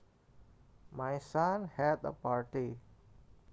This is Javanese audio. My son had a party